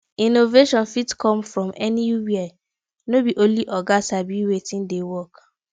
innovation fit come from anywhere no be only oga sabi wetin dey work